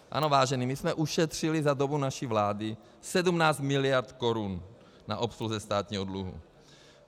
Ano, vážení, my jsme ušetřili za dobu naší vlády 17 mld. korun na obsluze státního dluhu.